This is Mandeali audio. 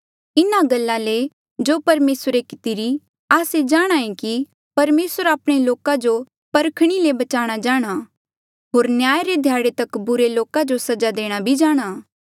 इन्हा गल्ला ले जो परमेसरे कितिरा आस्से जाणांहे कि परमेसर आपणे लोका जो परखणी ले बचाणा जाणहां होर न्याय रे ध्याड़े तक बुरे लोका जो सजा देणा भी जाणहां